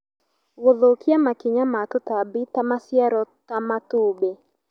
Gũthũkia makinya ma tũtambi twa maciaro ta matumbĩ